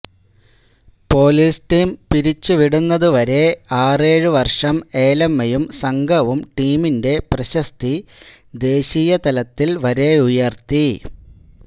police team പിരിച്ചുവിടുന്നതുവരെ ആറേഴു വർഷം ഏലമ്മയും സംഘവും ടീമിന്റെ പ്രശസ്തി ദേശീയതലത്തിൽ വരെയുയർത്തി